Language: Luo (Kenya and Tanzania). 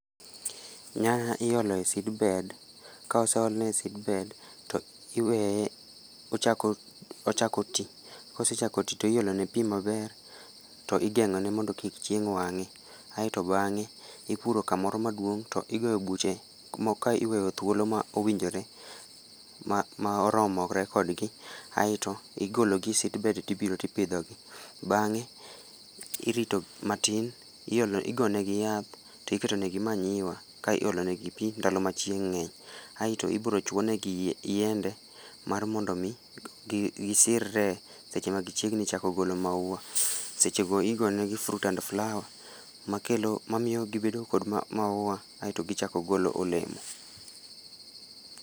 Nyanya iolo e seedbed, ka oseole e seedbed to iwee ochako ochako ti. Kosechako ti to iolo ne pi maber, to igengó ne mondo kik chieng' wangé. Aeto bangé ipuro kamoro maduong' to igoyo buche ka iweyo thuolo ma owinjore, ma ma oromore kodgi. Aeto igolo gi e seedbed to ibiro to ipidho gi. Bangé irito matin iolo, igo ne gi yath to iketo ne gi manyiwa ka iolo negi pi ndalo ma chieng' ngény. Aeto ibiro chwo ne gi yiende, mar mondo omi gi gisirre seche ma chiegni chako golo maua. Seche go igo negi fruit and flower, makelo, mamiyo gibedo kod ma maua, aeto gichako golo olemo.